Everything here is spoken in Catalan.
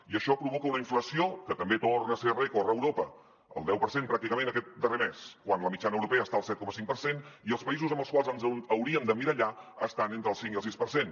i això provoca una inflació que també torna a ser rècord a europa el deu per cent pràcticament aquest darrer mes quan la mitjana europea està al set coma cinc per cent i els països amb els quals ens hauríem d’emmirallar estan entre el cinc i el sis per cent